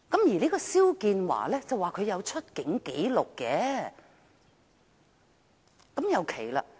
至於肖建華，據稱他是有出境紀錄的，但這也很奇怪。